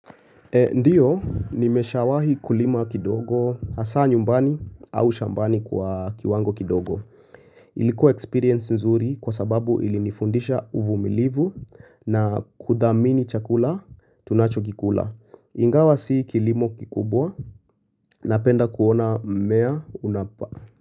Ndiyo nimeshawahi kulima kidogo hasa nyumbani au shambani kwa kiwango kidogo. Ilikuwa experience nzuri kwa sababu ilinifundisha uvumilivu na kudhamini chakula tunachokikula. Ingawa si kilimo kikubwa napenda kuona mmea unapa.